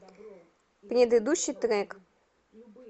предыдущий трек